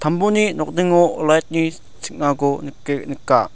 tambuni nokningo light-ni ching·ako nike-nika.